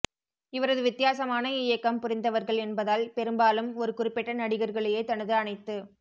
இவரது வித்தியாசமான இய்க்கம் புரிந்தவர்கள் என்பதால் பெரும்பாலும் ஒரு குறிப்பிட்ட நடிகர்களையே தனது அனைத்து